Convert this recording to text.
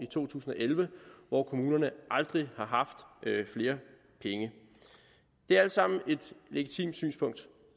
to tusind og elleve hvor kommunerne aldrig har haft flere penge det er alt sammen et legitimt synspunkt